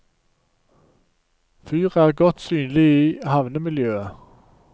Fyret er godt synlig i havnemiljøet.